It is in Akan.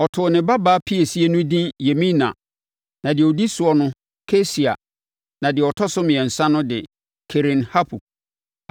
Ɔtoo ne babaa piesie no edin Yemima, na deɛ ɔdi soɔ no Kesia na deɛ ɔtɔ so mmiɛnsa no de Keren-Hapuk.